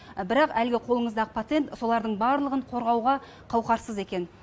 бірақ әлгі қолыңыздағы патент солардың барлығын қорғауға қауқарсыз екен